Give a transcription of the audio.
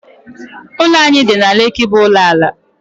Ụlọ anyị dị na Lekki bụ ụlọ ala